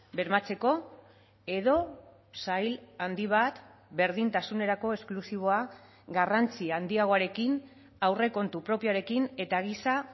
bermatzeko edo sail handi bat berdintasunerako esklusiboa garrantzi handiagoarekin aurrekontu propioarekin eta giza